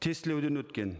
тестілеуден өткен